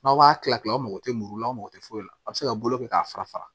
N'aw b'a kilan kilan mɔgɔw tɛ muru la aw mako tɛ foyi la a bɛ se ka bolo kɛ k'a fara fara